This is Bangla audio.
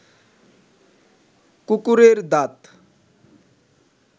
কুকুরের দাঁত